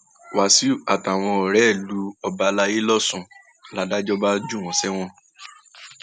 wàsíù àtàwọn ọrẹ rẹ lu ọba àlàyé lọsùn um ládàjọ bá jù wọn sẹwọn um